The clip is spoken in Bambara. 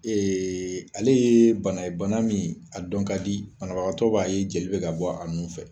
Ee ale ye bana ye bana min a dɔn ka di banabagatɔ b'a ye jeli be ka bɔ a nun fɛ